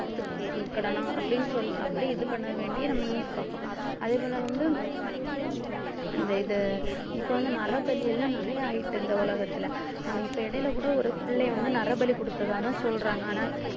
பார்த்துக்கடணும் அப்படின்னு சொல்லி அப்படி இது பண்ண வேண்டிய நம்ம news பார்ப்போம் அதே போல வந்து இந்த இது இப்ப வந்து நரபலி எல்லாம் நிறைய ஆயிட்டு இந்த உலகத்துல அஹ் இப்ப இடையில கூட ஒரு பிள்ளையை வந்து நரபலி குடுத்ததாதான் சொல்றாங்க ஆனா